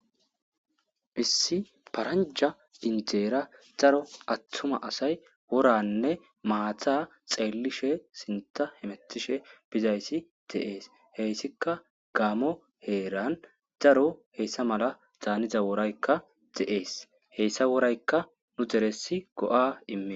issi paranja indeera daro attuma asay woranne maata xeellishe sinta hemettishe bizayssi de7ees heyssika gaamo heeran daro heessa mala zaaniza woraykka de7ees heyssa woraykka nu deresi go7a immi